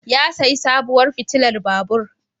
Ya sayi sabuwar fitilar babur